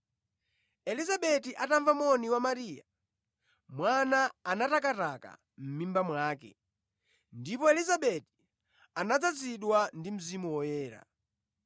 Elizabeti atamva moni wa Mariya, mwana anatakataka mʼmimba mwake, ndipo Elizabeti anadzazidwa ndi Mzimu Woyera.